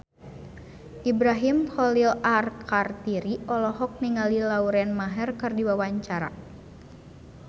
Ibrahim Khalil Alkatiri olohok ningali Lauren Maher keur diwawancara